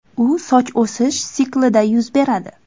U soch o‘sish siklida yuz beradi.